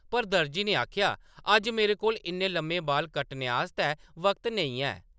पर दर्जी ने आखेआ ,“ अज्ज मेरे कोल इन्ने लम्मे बाल कट्टने आस्तै वक्त नेईं है! ”